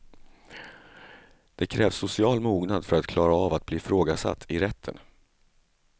Det krävs social mognad för att klara av att bli ifrågasatt i rätten.